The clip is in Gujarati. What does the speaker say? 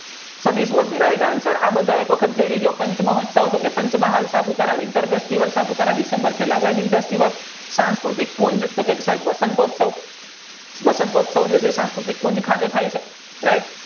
ચાંચમહોત્સવ કે પંચમહાલ જિલ્લમાં સાંસ્કૃતિક તો કી વસંતોત્સવ વસંતોત્સવજે સંસ્કૃતિ ખાતે થાય છે